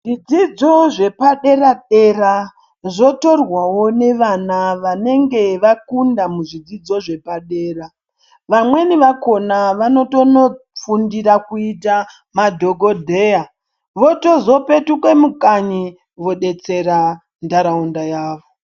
Zvidzidzo zvepadera dera zvotorwawo nevana vanenge vakundamuzvidzidzo zvepadera vamweni vakona vanotonofundira kuita madhokodheya votozopetuka mukanyi vobetsera ntaraunda yavo .